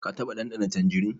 Ka taɓa ɗanɗana tanjirin?